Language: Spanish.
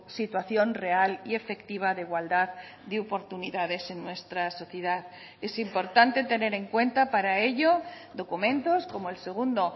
situación real y efectiva de igualdad de oportunidades en nuestra sociedad es importante tener en cuenta para ello documentos como el segundo